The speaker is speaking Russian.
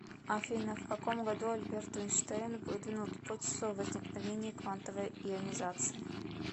афина в каком году альберт эйнштейн выдвинул гипотезу о возникновении квантовой ионизации